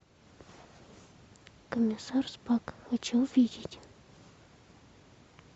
комиссар спак хочу увидеть